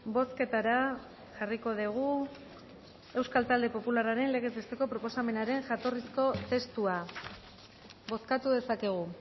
bozketara jarriko dugu euskal talde popularraren legez besteko proposamenaren jatorrizko testua bozkatu dezakegu